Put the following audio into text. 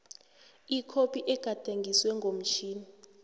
ikhophi egadangiswe ngomtjhini